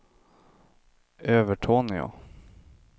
Övertorneå